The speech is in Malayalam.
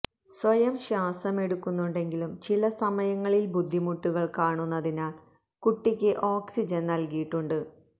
സ്വയം ശ്വാസമെടുക്കുന്നുണ്ടെങ്കിലും ചില സമയങ്ങളിൽ ബുദ്ധിമുട്ടുകൾ കാണുന്നതിനാൽ കുട്ടിക്ക് ഓക്സിജൻ നൽകിയിട്ടുണ്ട്